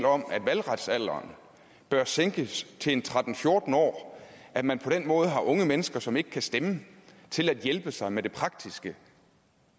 om at valgretsalderen bør sænkes til tretten til fjorten år at man på den måde har unge mennesker som ikke kan stemme til at hjælpe sig med det praktiske